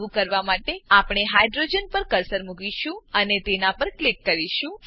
આવું કરવા માટે આપણે હાઇડ્રોજન હાઈડ્રોજન પર કર્સર મુકીશું અને તેના પર ક્લિક કરીશું